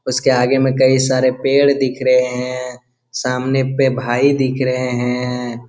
उसके आगे में कई सारे पेड़ दिख रहे हैं सामने पे भाई दिख रहे हैं।